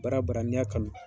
Baara baara n'i ya kanu .